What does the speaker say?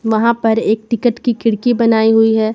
वहां पर एक टिकट की खिड़की बनाई हुई है।